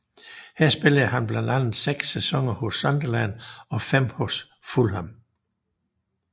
Her spillede han blandt andet seks sæsoner hos Sunderland og fem hos Fulham